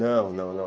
Não, não, não.